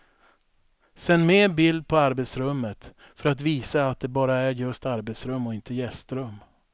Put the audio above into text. Sänd med bild på arbetsrummet för att visa att det bara är just arbetsrum och inte gästrum.